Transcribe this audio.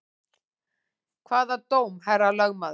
Hvaða dóm, herra lögmaður?